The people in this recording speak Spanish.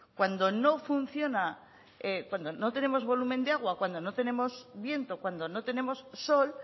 cuando no funciona cuando no tenemos volumen de agua cuando no tenemos viento cuando no tenemos sol